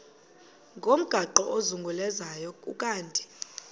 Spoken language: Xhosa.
ngomgaqo ozungulezayo ukanti